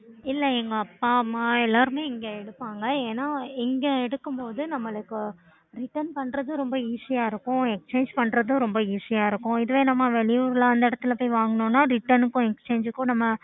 இல்ல எங்க அப்பா அம்மா எல்லாரும் இங்க எடுப்பாங்க ஏன்னா இங்க எடுக்கும்போது நம்பளுக்கு Return பண்றது ரொம்ப Easy ஆஹ் இருக்கும் Exchange பண்றது ரொம்ப easy ஆஹ் இருக்கும் இதுவே நம்ப வெளி ஊருல அந்த எடத்துல போய் வாங்குனோம்னா Return க்கும் Exchange க்கும் நம்ப